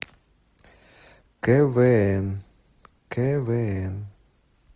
квн квн